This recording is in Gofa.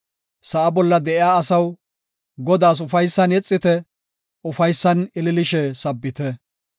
Sa7a bolla de7iya asaw, Godaas ufaysan yexite; ufaysan ililishe sabbite.